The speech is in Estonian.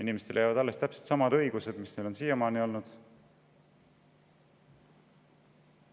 Inimestele jäävad alles täpselt samad õigused, mis neil siiamaani on olnud.